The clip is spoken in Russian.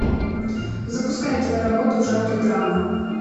запускай кино работу в жанре драма